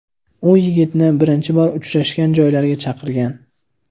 U yigitni birinchi bor uchrashgan joylariga chaqirgan.